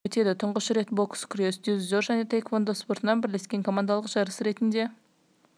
финалдық кезеңі өтеді тұңғыш рет бокс күрес дзюдо және таеквондо спортынан бірлескен командалық жарыс ретінде